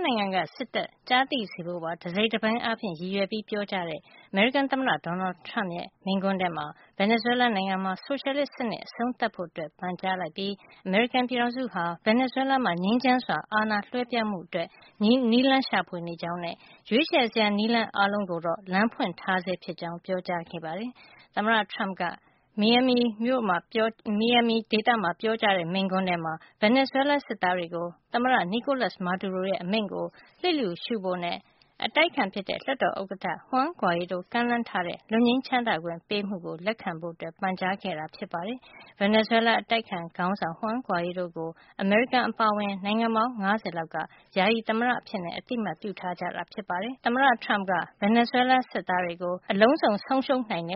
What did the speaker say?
နိုင်ငံက စစ်တပ်ကြားသိစေဖို့ပါ တစိတ်တပိုင်းအားဖြင့် ရည်ရွယ်ပြီး ပြောကြားတဲ့ အမေရိကန် သမ္မတ Donald Trump ရဲ့ မိန့်ခွန်းထဲမှာ Venezuela နိုင်ငံမှာ ဆိုရှယ်လစ်စနစ် အဆုံးသတ်ဖို့ ပန်ကြားလိုက်ပြီး အမေရိကန်ပြည်ထောင်စုဟာ ဗင်နီဇွဲလားမှာ ငြိမ်းချမ်းစွာ အာဏာလွှဲပြောင်းမှု အတွက် နည်းလမ်းရှာနေကြောင်းနဲ့ ရွေးချယ်စရာ နည်းလမ်း အားလုံးကိုတော့ လမ်းဖွင့်ထားဆဲ ဖြစ်ကြောင်း ပြောကြားခဲ့ပါတယ်။ သမ္မတ Trump က မီယာမီ ဒေသမှာ ပြောကြားတဲ့ မိန့်ခွန်းမှာ Venezuela စစ်သားတွေကို သမ္မတ Nicolas Maduro ရဲ့ အမိန့်ကို လျှစ်လျူရှုဖို့နဲ့ လွှတ်တော်ဥက္ကဌ Juan Guaido ကမ်းလှမ်းထားတဲ့ လွတ်ငြိမ်းချမ်းသာခွင့်ပေးမှုကို လက်ခံဖို့ ပန်ကြားခဲ့တာပါ။ Venezuelaအတိုက်အခံ ခေါင်းဆောင် Juan Guaido ကို အမေရိကန်နဲ့ တကွ နိုင်ငံပေါင်း ၅၀ လောက်က Venezuela ယာယီသမ္မတ အဖြစ် အသိမှတ်ပြုထား ကြပါတယ်။ Venezuela စစ်သားတွေကိုလည်း သူတို့အတွက် လွတ်လမ်းမရှိပဲ အရာအားလုံး ဆုံးရှုံးရနိုင်တယ